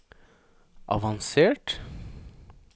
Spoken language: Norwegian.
avansert